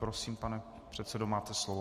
Prosím, pane předsedo, máte slovo.